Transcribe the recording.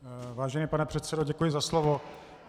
Vážený pane předsedo, děkuji za slovo.